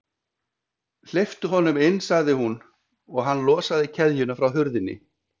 Hleyptu honum inn sagði hún, og hann losaði keðjuna frá hurðinni.